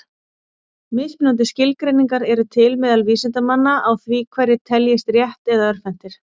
Mismunandi skilgreiningar eru til meðal vísindamanna á því hverjir teljist rétt- eða örvhentir.